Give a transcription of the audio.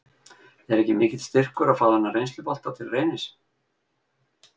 Er ekki mikill styrkur að fá þennan reynslubolta til Reynis?